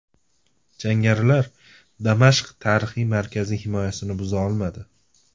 Jangarilar Damashq tarixiy markazi himoyasini buza olmadi.